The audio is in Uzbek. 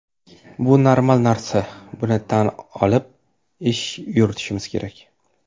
Bu normal narsa, buni tan olib ish yuritishimiz kerak.